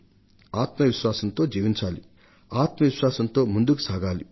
ఆత్మ విశ్వాసంతో జీవించాలి ఆత్మ విశ్వాసంతో ముందుకు సాగాలి